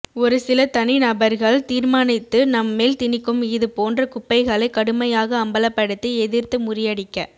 ஒரு சில தனிநபர்கள் தீர்மானித்து நம்மேல் தினிக்கும் இது போன்ற குப்பைகளை கடுமையாக அம்பலப்படுத்தி எதிர்த்து முறியடிக்க